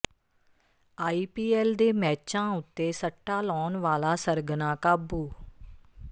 IPL ਦੇ ਮੈਚਾਂ ਉੱਤੇ ਸੱਟਾ ਲਾਉਣ ਵਾਲਾ ਸਰਗਨਾ ਕਾਬੂ